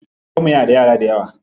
Babanmu yana da yara dayawa.